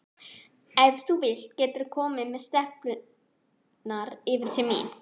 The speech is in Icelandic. Ef þú vilt geturðu komið með stelpurnar yfir til mín.